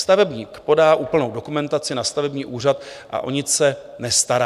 Stavebník podá úplnou dokumentaci na stavební úřad a o nic se nestará."